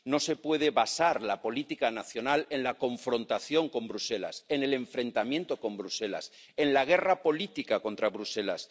No se puede basar la política nacional en la confrontación con Bruselas, en el enfrentamiento con Bruselas, en la guerra política contra Bruselas.